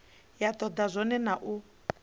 vha toda zwone na u